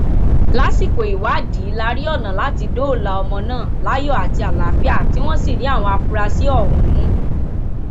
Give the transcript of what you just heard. lásìkò ìwádìí la rí ọnà láti dóòlà ọmọ náà láyọ àti àlàáfíà tí wọn sì rí àwọn afurasí ọhún mú